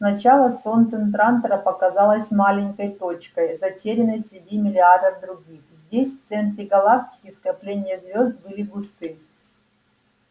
сначала солнце трантора показалось маленькой точкой затерянной среди миллиардов других здесь в центре галактики скопления звёзд были густы